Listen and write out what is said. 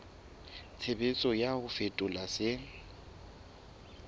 tshebetso ya ho fetola se